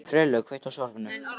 Friðlaug, kveiktu á sjónvarpinu.